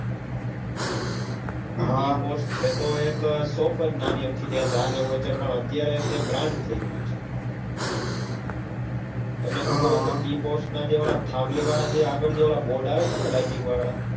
હા tea pot છે તો એક shop નાની અમથી ચા ને એવું વેચાઈ પણ અત્યારે તે એક brand થઇ ગઈ એવું છે તમને ખબર છે હમ હમ tea pot ના આવે છે થાંભલી જેવા આગળ જે બોર્ડ આવે છે ને lighting વાળા